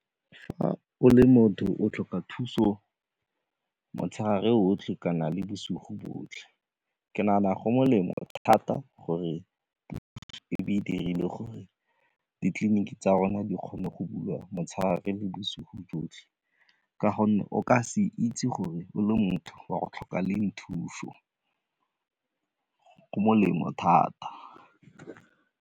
Fa o le motho, o tlhoka thuso motshegare otlhe kana le bosigo botlhe. Ke nagana go molemo thata gore puo e be e dirile gore ditleliniki tsa rona di kgone go bulega motshegare le bosigo botlhe ka gonne o ka se itse gore o le motho o ya go tlhoka leng thuso, go molemo thata.